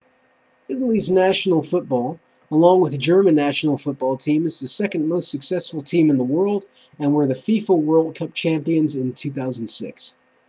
italy's national football along with german national football team is the second most successful team in the world and were the fifa world cup champions in 2006